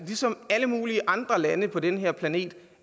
ligesom alle mulige andre lande på den her planet